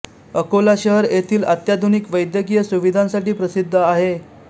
अकोला शहर येथिल अत्याधुनिक वैद्यकीय सुविधांसाठी प्रसिद्ध आहे